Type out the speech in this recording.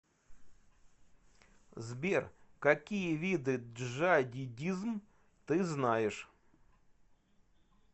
сбер какие виды джадидизм ты знаешь